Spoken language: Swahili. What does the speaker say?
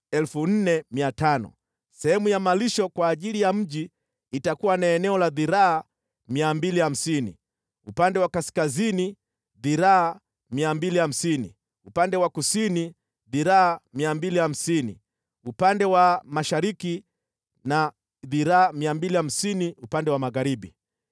Sehemu ya malisho kwa ajili ya mji itakuwa na eneo la dhiraa 250 upande wa kaskazini, dhiraa 250 upande wa kusini, dhiraa 250 upande wa mashariki na dhiraa 250 upande wa magharibi.